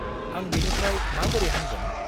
आं बेनिफ्राय माबोरै हामगोन?